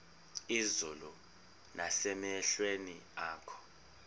izulu nasemehlweni akho